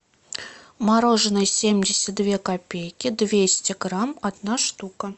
мороженое семьдесят две копейки двести грамм одна штука